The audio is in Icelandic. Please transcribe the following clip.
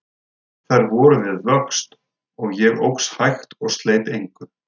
Þær voru við vöxt, og ég óx hægt og sleit engu.